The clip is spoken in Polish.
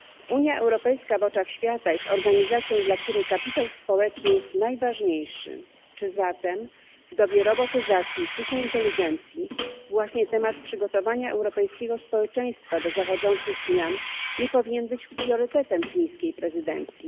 Unia Europejska w oczach świata jest organizacją, dla której najważniejszy jest kapitał społeczny. Czy zatem w dobie robotyzacji i sztucznej inteligencji właśnie temat przygotowania europejskiego społeczeństwa do zachodzących zmian nie powinien być priorytetem fińskiej prezydencji?